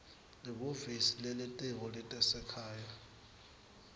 lihhovisi lelitiko letasekhaya